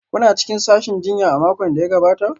Kuna cikin sashin jinya a makon da ya gabata?